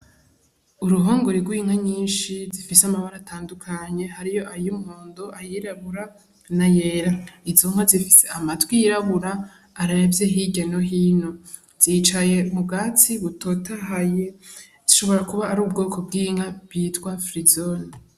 Uruhongore rw'inka nyinshi zifise amabara atandukanye hariyo ay'umuhondo, ay'irabura n'ayera. Izo nka zifise amatwi yirabura aravye hirya no hino. Zicaye mubwatsi butotahaye, zishobora kuba ari ubwoko bw'inka bwitwa firizone.